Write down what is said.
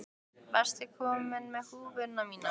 Varstu að koma með húfuna mína?